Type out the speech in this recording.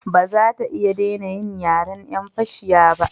Ba za ta iya dena yin yaren yan fashiya ba